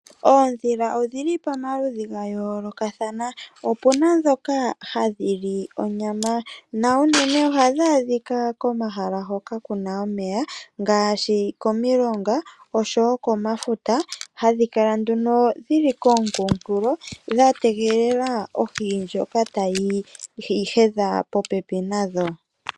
Oondhila odhili pamaludhi gayoolokathana. Opuna ndhoka hadhi li onyama, na unene ohadhi adhika komahala hoka kuna omeya, ngaashi komilonga, oshowo komafuta. Ohadhi kala nduno dhili komunkulo, dha tegelela ohi ndjoka tayi hedha popepi nadho.